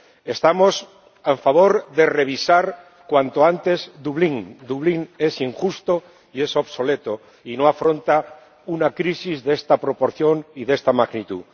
Estamos a favor de revisar cuanto antes Dublín Dublín es injusto y obsoleto, y no afronta una crisis de esta proporción y de esta magnitud.